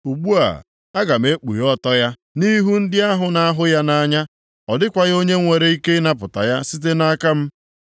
Ugbu a, aga m ekpughe ọtọ ya nʼihu ndị ahụ na-ahụ ya nʼanya, + 2:10 Ndị ya na ha na-akwa iko ọ dịkwaghị onye nwere ike ịnapụta ya site nʼaka m.